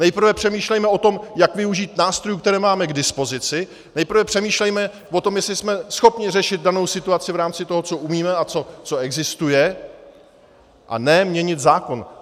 Nejprve přemýšlejme o tom, jak využít nástrojů, které máme k dispozici, nejprve přemýšlejme o tom, jestli jsme schopni řešit danou situaci v rámci toho, co umíme a co existuje, a ne měnit zákon.